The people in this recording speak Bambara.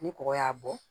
Ni kɔgɔ y'a bɔ